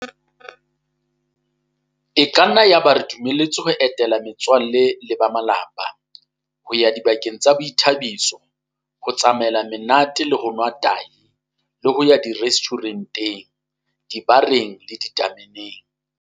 E ka nna ya ba re dumeletswe ho etela me tswalle le ba malapa, ho ya dibakeng tsa boithabiso, ho tsamaela monate le ho nwa tahi le ho ya direstjhure nteng, dibareng le ditame neng.